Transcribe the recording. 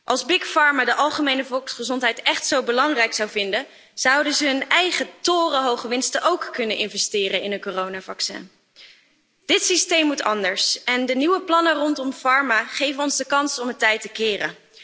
Als de de algemene volksgezondheid écht zo belangrijk zouden vinden, zouden ze hun eigen torenhoge winsten ook kunnen investeren in een coronavaccin. Dit systeem moet anders en de nieuwe plannen rondom farma geven ons de kans om het tij te keren.